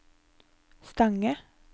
Stange